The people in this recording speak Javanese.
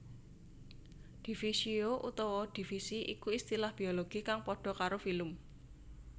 Divisio utawa divisi iku istilah Biologi kang padha karo filum